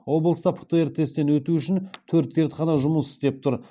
облыста птр тесттен өту үшін төрт зертхана жұмыс істеп тұр